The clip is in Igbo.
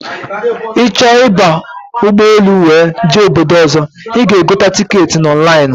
Ịchọ ịba ụgbọ elu wee jee obodo ọzọ, ịga egote ticketị na ọnlainụ